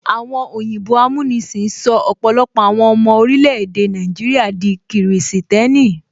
Àwọn òyìnbó amúnisìn sọ ọpọlọpọ àwọn ọmọ orílè-èdè Nàìjíríà di kìrìsìtẹ́nì